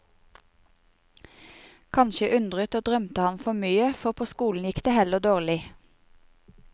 Kanskje undret og drømte han for mye, for på skolen gikk det heller dårlig.